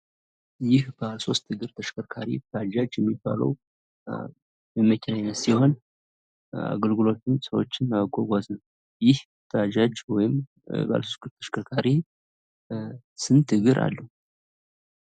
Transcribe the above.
ይህ ባለ ሶስት እግር ተሽከርካሪ ባጃጅ ሰዎችን ለማጓጓዝ ይጠቅመናል።